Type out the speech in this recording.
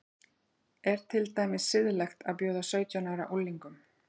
Er til dæmis siðlegt að bjóða sautján ára unglingum